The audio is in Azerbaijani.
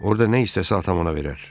Orda nə istəsə, atam ona verər.